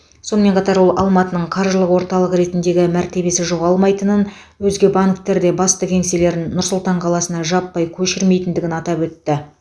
сонымен қатар ол алматының қаржылық орталық ретіндегі мәртебесі жоғалмайтынын өзге банктер де басты кеңселерін нұр сұлтан қаласына жаппай көшірмейтіндігін атап өтті